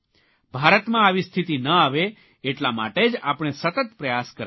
ભારતમાં આવી સ્થિતિ ન આવે એટલા માટે જ આપણે સતત પ્રયાસ કરવાના છે